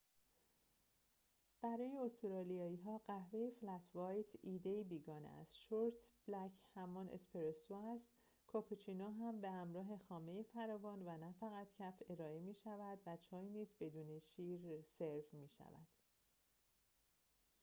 برای استرالیایی‌ها، قهوه «فلت وایت» ایده‌ای بیگانه است. شورت بلک همان «اسپرسو» است، کاپوچینو هم به همراه خامه فراوان و نه فقط کف ارائه می‌شود و چای نیز بدون شیر سرو می‌شود